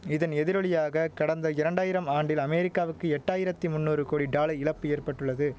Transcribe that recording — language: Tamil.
இதன் எதிரொலியாக கடந்த இரண்டாயிரம் ஆண்டில் அமெரிக்காவுக்கு எட்டாயிரத்து மூன்னூறு கோடி டாலை இழப்பு ஏற்பட்டுள்ளது